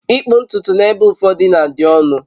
ịkpụ ntutu n'ebe ụfọdụ na-adị ọnụ